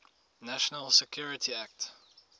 national security act